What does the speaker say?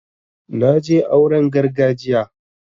na je auren gargajiya